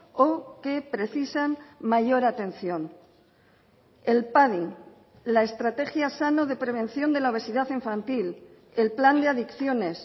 o que precisan mayor atención el padi la estrategia sano de prevención de la obesidad infantil el plan de adicciones